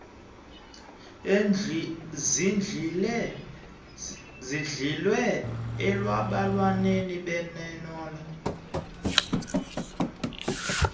zihlwile olwalonwabo bebenalo